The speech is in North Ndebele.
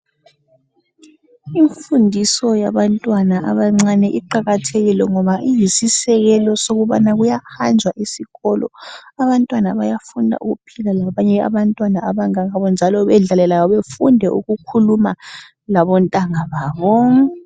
imfundiso yabantwana abancane iqakathekile ngoba iyisisekelo sokubana kuyahanjwa esikolo abantwana bayafuna ukuphila labanye abantwana abangabo njalo bedlale labo befunde ukukhuluma labontanga babo